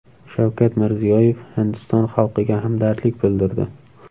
Shavkat Mirziyoyev Hindiston xalqiga hamdardlik bildirdi.